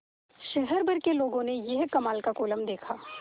शहर भर के लोगों ने यह कमाल का कोलम देखा